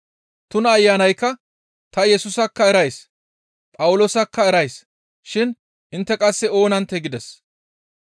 Tuna ayanaykka, «Ta Yesusakka erays; Phawuloosakka erays shin intte qasse oonanttee?» gides.